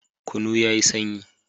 Kunu yayi sanyi